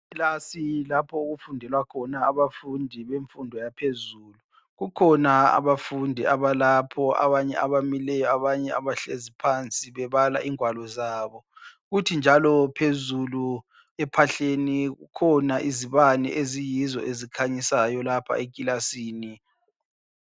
Iklasi lapho okufundela khona abafundi bemfundo yaphezulu. Kukhona abafundi abalapho ,abanye abamileyo abanye bahlezi phansi bebala ingwalo zabo. Kuthi njalo phezulu ephahleni kukhona izibane eziyizo ezikhanyisayo lapha ekilasini